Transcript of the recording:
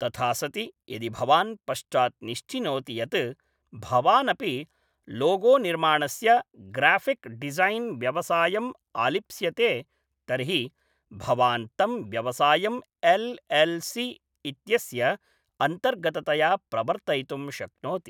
तथा सति यदि भवान् पश्चात् निश्चिनोति यत् भवानपि लोगोनिर्माणस्य ग्राफ़िक् डिज़ैन् व्यवसायम् आलिप्स्यते तर्हि भवान् तं व्यवसायम् एल् एल् सि इत्यस्य अन्तर्गततया प्रवर्तयितुं शक्नोति।